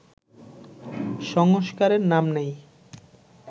সংস্কারের নাম নেই